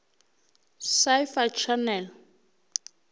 sci fi channel